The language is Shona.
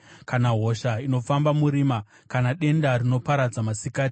kana hosha inofamba murima, kana denda rinoparadza masikati.